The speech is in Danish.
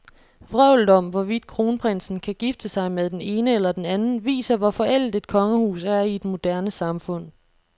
Vrøvlet om, hvorvidt kronprinsen kan gifte sig med den ene eller den anden, viser, hvor forældet et kongehus er i et moderne samfund.